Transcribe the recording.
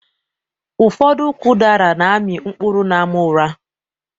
Ụfọdụ ụkwụ udara na amị mkpụrụ n'àmà ura